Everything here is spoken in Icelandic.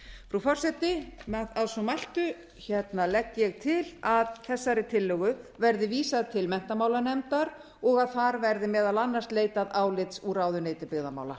frú forseti að svo mæltu legg ég til að þessari tillögu verði vísað til menntamálanefndar og að þar verði meðal annars leitað álits úr ráðuneyti byggðamála